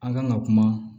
An kan ka kuma